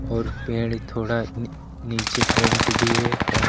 और पेड़ थोड़ा नी नीचे पेंट भी है